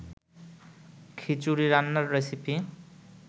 খিচুড়ি রান্নার রেসিপি